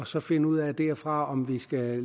så finde ud af der fra om vi skal